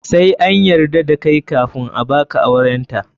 Sai an yarda da kai kafun a baka aurenta.